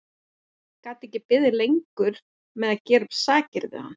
Gat ekki beðið lengur með að gera upp sakir við hann.